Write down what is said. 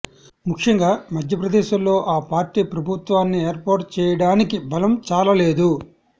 ముఖ్యంగా మధ్యప్రదేశ్లో ఆ పార్టీ ప్రభుత్వాన్ని ఏర్పాటు చేయడానికి బలం చాలలేదు